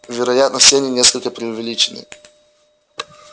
вероятно все они несколько преувеличены